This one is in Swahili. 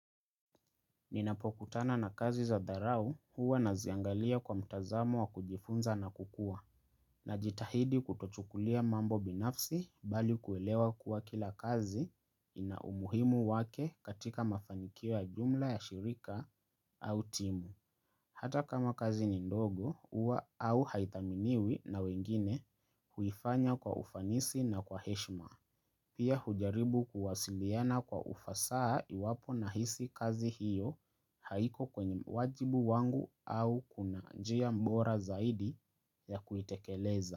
Ninapokutana na kazi za dharau huwa naziangalia kwa mtazamu wa kujifunza na kukua najitahidi kutochukulia mambo binafsi bali kuelewa kuwa kila kazi ina umuhimu wake katika mafanikio jumla ya shirika au timu. Hata kama kazi ni ndogo huwa au haithaminiwi na wengine huifanya kwa ufanisi na kwa heshima. Pia hujaribu kuwasiliana kwa ufasaha iwapo nahisi kazi hiyo haiko kwenye wajibu wangu au kuna njia bora zaidi ya kuitekeleza.